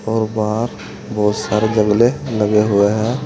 और बाहर बहोत सारे जगले लगे हुए हैं।